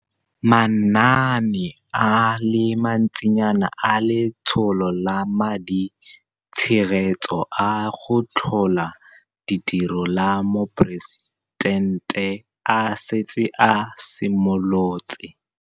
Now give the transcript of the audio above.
Manaane a le mantsinyana a Letsholo la Maditshegetso a go Tlhola Ditiro la Moporesitente a setse a simolotse.